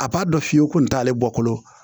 A b'a dɔn fiye kun t'ale bɔkolo